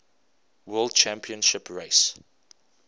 world championship race